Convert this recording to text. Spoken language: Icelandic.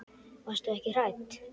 Varstu ekki hrædd?